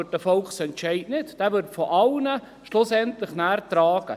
Ein Volksentscheid wird nicht hinterfragt, dieser wird schlussendlich von allen getragen.